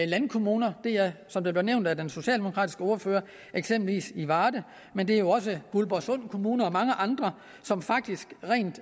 landkommuner det er som det blev nævnt af den socialdemokratiske ordfører eksempelvis i varde men det er jo også guldborgsund kommune og mange andre som faktisk rent